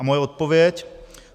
A moje odpověď.